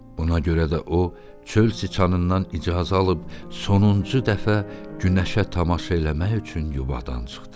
Buna görə də o, çöl siçanından icazə alıb sonuncu dəfə günəşə tamaşa eləmək üçün yubadan çıxdı.